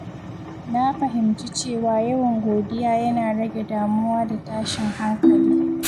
Na fahimci cewa yawan godiya yana rage damuwa da tashin hankali.